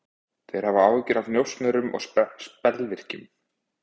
Þeir hafa áhyggjur af njósnurum og spellvirkjum.